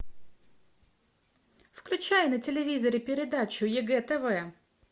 включай на телевизоре передачу егэ тв